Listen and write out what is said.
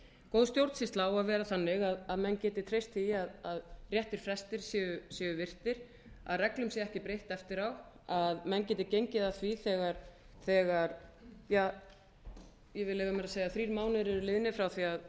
góð stjórnsýsla á að vera þannig að menn geti treysti því að réttir frestir séu virtir að reglum sé ekki breytt eftirá að menn geti gengið að því þegar ég vil leyfa mér að segja þrír mánuðir